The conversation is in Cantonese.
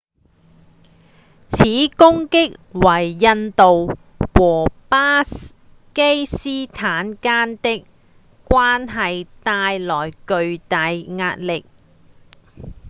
此攻擊為印度和巴基斯坦間的關係帶來巨大壓力